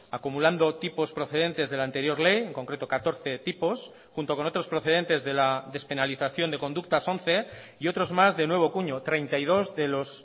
acumulando tipos procedentes de la anterior ley en concreto catorce tipos junto con otros procedentes de la despenalización de conductas once y otros más de nuevo cuño treinta y dos de los